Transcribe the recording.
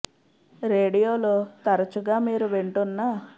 రేడియోలో తరచుగా మీరు వింటున్న ఒక ట్యూన్ బదులుగా ఒక జానపద ట్యూన్ లేదా శ్లోకం కనుగొనడంలో సూచిస్తున్నాం